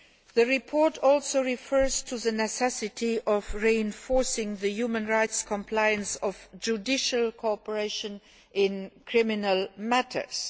The report also refers to the necessity of reinforcing the human rights compliance of judicial cooperation in criminal matters.